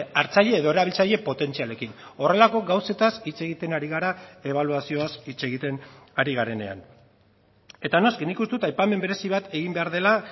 hartzaile edo erabiltzaile potentzialekin horrelako gauzetaz hitz egiten ari gara ebaluazioz hitz egiten ari garenean eta noski nik uste dut aipamen berezi bat egin behar dela